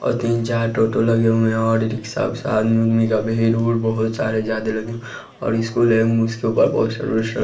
और तीन चार टोटो लगे हुए है और ई रिक्शा विक्सा आदमी ओदमी का भीड़ वीड़ बहोत सारे जायदे लगे और स्कूल है उसके ऊपर सर्वीस --